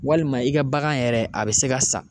Walima i ka bagan yɛrɛ a bi se ka sa